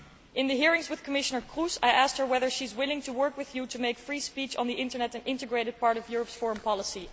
In the hearings with Commissioner Kroes, I asked her whether she is willing to work with you to make free speech on the Internet an integrated part of Europe's foreign policy.